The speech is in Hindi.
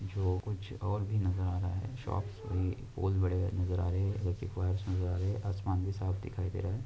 जो कुछ और भी नजर आ रहा है शोप सभी पोज बड़े नजर आ रहे है इलेक्ट्रिक वायर्स नजर आ रहे हैआसमान भी साफ दिखाई हे रहे है।